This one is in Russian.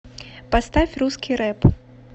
поставь русский рэп